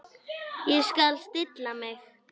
Ég skal stilla mig.